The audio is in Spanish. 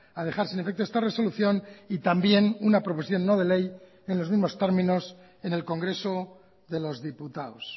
ha dejar sin efecto esta resolución y también una proposición no de ley en los mismos términos en el congreso de los diputados